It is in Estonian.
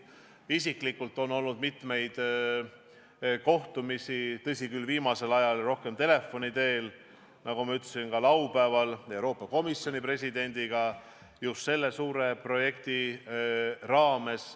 Mul isiklikult on olnud mitmeid kohtumisi – tõsi küll, viimasel ajal rohkem telefoni teel, nagu ma ütlesin, ka laupäeval Euroopa Komisjoni presidendiga – just selle suure projekti raames.